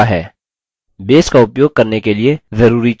base का उपयोग करने के लिए जरूरी चीजें